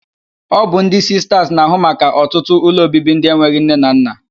Ọ bụ ndị Sistas na-ahụ maka ọtụtụ ụlọobibi ndị enweghị nne na nna.